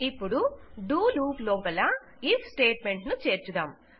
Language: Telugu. ఇపుడు డో లూప్ లోపల ఐఎఫ్ స్టేట్ మెంట్ ను చేర్చుదాం